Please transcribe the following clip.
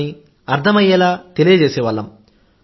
అయిపోతుందని అర్థమయ్యేలా తెలియజేసే వాళ్లం